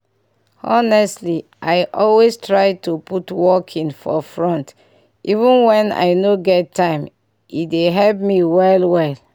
honestly i always try to put walking for front even when i no get time e dey help me well well.